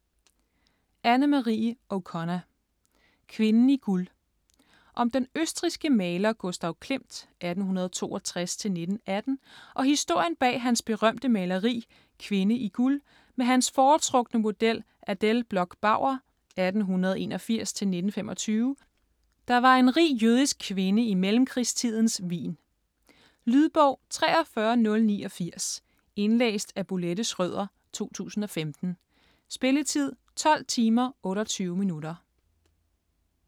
O'Connor, Anne-Marie: Kvinden i guld Om den østrigske maler Gustav Klimt (1862-1918) og historien bag hans berømte maleri "Kvinde i guld" med hans foretrukne model Adele Bloch-Bauer (1881-1925), der var en rig jødisk kvinde i mellemkrigstidens Wien. Lydbog 43089 Indlæst af Bolette Schrøder, 2015. Spilletid: 12 timer, 28 minutter.